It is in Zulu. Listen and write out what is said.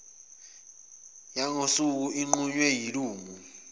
yangosuku inqunywe yilungu